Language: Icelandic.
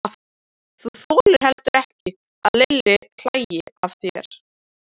Þú þolir heldur ekki að Lilli hlæi að þér.